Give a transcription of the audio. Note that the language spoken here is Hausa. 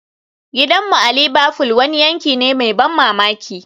Gidanmu a Liverfool wani yanki ne mai ban mamaki